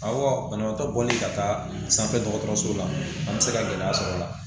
Awɔ banabaatɔ bɔli ka taa sanfɛ dɔgɔtɔrɔso la an bɛ se ka gɛlɛya sɔr'ɔ la